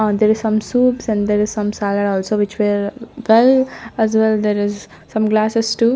on there is some soups and there is some salad also which were as well there is some glasses too.